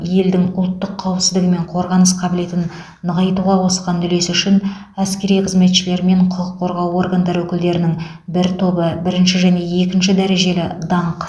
елдің ұлттық қауіпсіздігі мен қорғаныс қабілетін нығайтуға қосқан үлесі үшін әскери қызметшілер мен құқық қорғау органдары өкілдерінің бір тобы бірінші және екінші дәрежелі даңқ